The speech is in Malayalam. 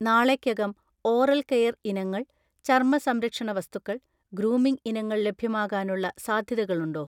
നാളെക്കകം ഓറൽ കെയർ ഇനങ്ങൾ, ചർമ്മസംരക്ഷണ വസ്തുക്കൾ, ഗ്രൂമിംഗ് ഇനങ്ങൾ ലഭ്യമാകാനുള്ള സാധ്യതകളുണ്ടോ?